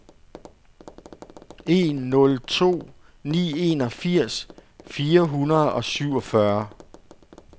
en nul to ni enogfirs fire hundrede og syvogfyrre